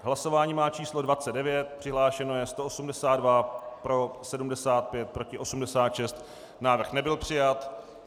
Hlasování má číslo 29, přihlášeno je 182, pro 75, proti 86, návrh nebyl přijat.